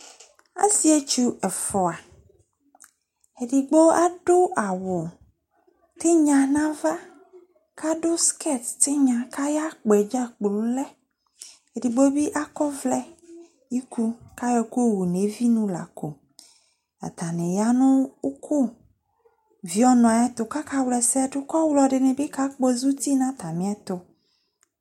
asietsu efua edigbo adu awutinya nava kadu skete ayakpoe djaplole edigbobi ako ovle ku ayo eku yowunevi lako ataniya nu uku vieonu ayetu kakavlaesedu kuovlo bikakpozaouti natamieto